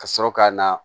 Ka sɔrɔ ka na